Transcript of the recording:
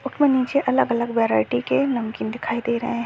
उसमे नीचे अलग - अलग वराइएटी के नमकीन दिखाई दे रहे है।